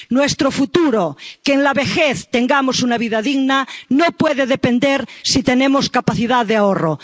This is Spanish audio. Nuestro futuro ―que en la vejez tengamos una vida digna― no puede depender de si tenemos capacidad de ahorro.